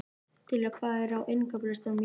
Diljar, hvað er á innkaupalistanum mínum?